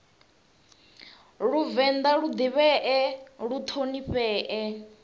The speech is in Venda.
vhavenḓa lu ḓivhee lu ṱhonifhee